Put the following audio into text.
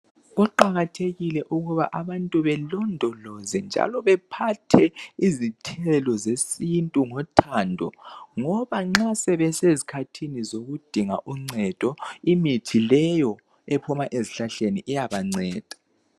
Kuqakathekile ukuba abantu belondoloze njalo bephathe izithelo zesintu ngothando ngoba nxa sebesezikhathini zokudinga uncedo imithi leyo ephuma ezihlahleni iyabanceda